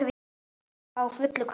Á fullu kaupi.